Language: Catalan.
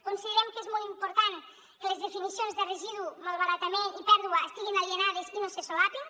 considerem que és molt important que les definicions de residu malbaratament i pèrdua estiguin alineades i no se solapin